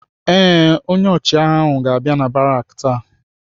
Ee, onye ọchịagha ahụ ga-abịa n'amị̀ baraki taa.